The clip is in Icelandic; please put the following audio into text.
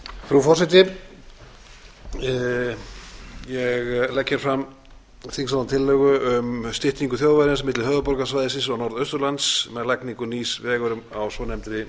frú forseti ég legg hér fram þingsályktunartillögu um styttingu þjóðvegarins milli höfuðborgarsvæðisins og norðausturlands með lagningu nýs vegar á svonefndri